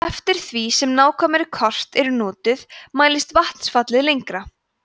eftir því sem nákvæmari kort eru notuð mælist vatnsfallið lengra